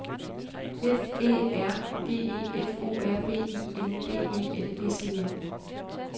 F Æ R G E F O R B I N D E L S E N